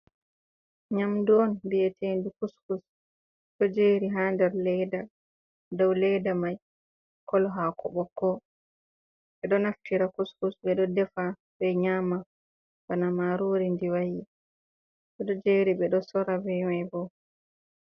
Nyamdu on biyeteidu kuskus ɗo jeri ha nder leda dau leda mai kolo haako ɓokko. Ɓe ɗo naftira kuskus ɓe ɗo defa be nyama bana marori ndi wa'i bo ɗo jeri ɓe ɗo sora be mai bo.